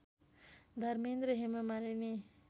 Dharmendra Hema Malini